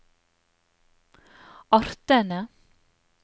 artene